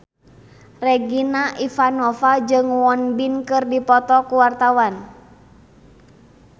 Regina Ivanova jeung Won Bin keur dipoto ku wartawan